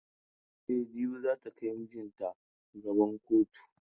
E, jibi za ta kai maijinta gaba kotu.